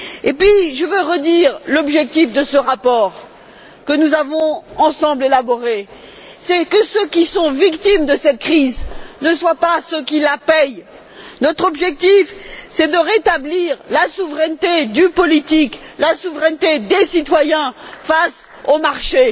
Puis, je tiens à rappeler l'objectif de ce rapport que nous avons élaboré ensemble c'est que ceux qui sont victimes de cette crise ne soient pas ceux qui la paient. Notre objectif est de rétablir la souveraineté du politique, la souveraineté des citoyens face aux marchés.